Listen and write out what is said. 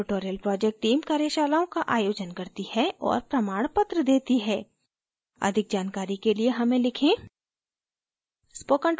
spoken tutorial project team कार्यशालाओं का आयोजन करती है और प्रमाणपत्र देती है अधिक जानकारी के लिए हमें लिखें